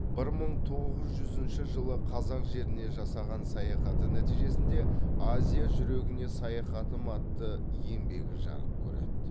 бір мың тоғыз жүзінші жылы қазақ жеріне жасаған саяхаты нәтижесінде азия жүрегіне саяхатым атты еңбегі жарық көреді